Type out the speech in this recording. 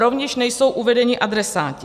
Rovněž nejsou uvedeni adresáti.